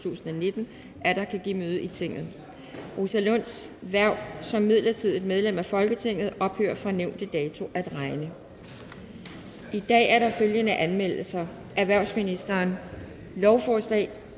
tusind og nitten atter kan give møde i tinget rosa lunds hverv som midlertidigt medlem af folketinget ophører fra nævnte dato at regne i dag er der følgende anmeldelser erhvervsministeren lovforslag